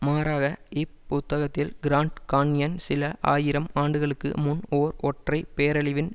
மாறாக இப் புத்தகத்தில் கிராண்ட் கான்யன் சில ஆயிரம் ஆண்டுகளுக்கு முன் ஓர் ஒற்றை பேரழிவின்